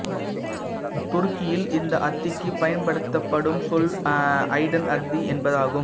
துருக்கியில் இந்த அத்திக்கு பயன்படுத்தப்படும் சொல் அய்டன் அத்தி என்பதாகும்